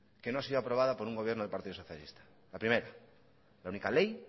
que no ha sido aprobada por un gobierno del partido socialista la primera la única ley